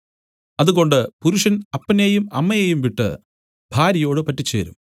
അതുകൊണ്ട് പുരുഷൻ അപ്പനെയും അമ്മയെയും വിട്ടു ഭാര്യയോടു പറ്റിച്ചേരും